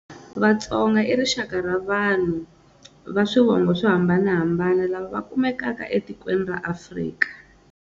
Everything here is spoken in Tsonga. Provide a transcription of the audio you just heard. Vatsonga i rixaka ra vanhu va swivongo swo hambanahambana lava va kumekaka etikweni ra Afrika.